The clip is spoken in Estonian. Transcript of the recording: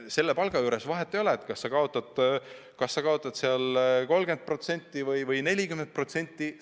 Selle palga juures vahet ei ole, kas sa kaotad 30%või 40%.